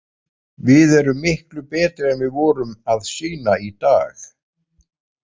Við erum miklu betri en við vorum að sýna í dag.